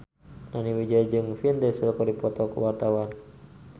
Nani Wijaya jeung Vin Diesel keur dipoto ku wartawan